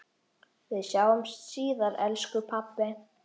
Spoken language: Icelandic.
Við sjáumst síðar elsku pabbi.